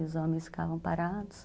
E os homens ficavam parados.